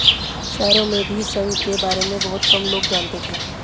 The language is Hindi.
शहरों में भी संघ के बारे में बहुत कम लोग जानते थे